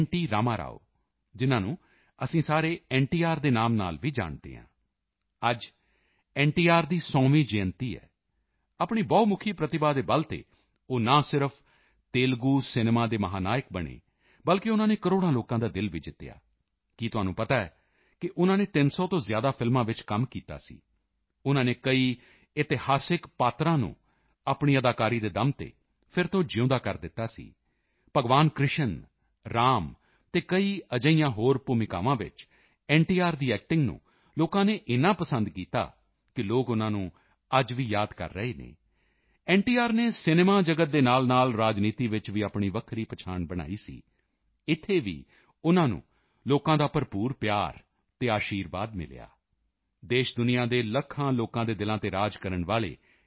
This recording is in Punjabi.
ਰਾਮਾਰਾਓ ਜਿਨ੍ਹਾਂ ਨੂੰ ਅਸੀਂ ਸਾਰੇ ਐੱਨਟੀਆਰ ਦੇ ਨਾਮ ਨਾਲ ਵੀ ਜਾਣਦੇ ਹਾਂ ਅੱਜ ਐੱਨਟੀਆਰ ਦੀ 100ਵੀਂ ਜਯੰਤੀ ਹੈ ਆਪਣੀ ਬਹੁਮੁਖੀ ਪ੍ਰਤਿਭਾ ਦੇ ਬਲ ਤੇ ਉਹ ਨਾ ਸਿਰਫ਼ ਤੇਲੁਗੂ ਸਿਨੇਮਾ ਦੇ ਮਹਾਨਾਇਕ ਬਣੇ ਬਲਕਿ ਉਨ੍ਹਾਂ ਨੇ ਕਰੋੜਾਂ ਲੋਕਾਂ ਦਾ ਦਿਲ ਵੀ ਜਿੱਤਿਆ ਕੀ ਤੁਹਾਨੂੰ ਪਤਾ ਹੈ ਉਨ੍ਹਾਂ ਨੇ 300 ਤੋਂ ਜ਼ਿਆਦਾ ਫ਼ਿਲਮਾਂ ਵਿੱਚ ਕੰਮ ਕੀਤਾ ਸੀ ਉਨ੍ਹਾਂ ਨੇ ਕਈ ਇਤਿਹਾਸਿਕ ਪਾਤਰਾਂ ਨੂੰ ਆਪਣੀ ਅਦਾਕਾਰੀ ਦੇ ਦਮ ਤੇ ਫਿਰ ਤੋਂ ਜਿਊਂਦਾ ਕਰ ਦਿੱਤਾ ਸੀ ਭਗਵਾਨ ਕ੍ਰਿਸ਼ਨ ਰਾਮ ਅਤੇ ਕਈ ਅਜਿਹੀਆਂ ਕਈ ਹੋਰ ਭੂਮਿਕਾਵਾਂ ਵਿੱਚ ਐੱਨਟੀਆਰ ਦੀ ਐਕਟਿੰਗ ਨੂੰ ਲੋਕਾਂ ਨੇ ਏਨਾ ਪਸੰਦ ਕੀਤਾ ਕਿ ਲੋਕ ਉਨ੍ਹਾਂ ਨੂੰ ਅੱਜ ਵੀ ਯਾਦ ਕਰਦੇ ਹਨ ਐੱਨਟੀਆਰ ਨੇ ਸਿਨੇਮਾ ਜਗਤ ਦੇ ਨਾਲਨਾਲ ਰਾਜਨੀਤੀ ਵਿੱਚ ਵੀ ਆਪਣੀ ਵੱਖਰੀ ਪਹਿਚਾਣ ਬਣਾਈ ਸੀ ਇੱਥੇ ਵੀ ਉਨ੍ਹਾਂ ਨੂੰ ਲੋਕਾਂ ਦਾ ਭਰਪੂਰ ਪਿਆਰ ਅਤੇ ਅਸ਼ੀਰਵਾਦ ਮਿਲਿਆ ਦੇਸ਼ਦੁਨੀਆਂ ਦੇ ਲੱਖਾਂ ਲੋਕਾਂ ਦੇ ਦਿਲਾਂ ਤੇ ਰਾਜ ਕਰਨ ਵਾਲੇ ਐੱਨ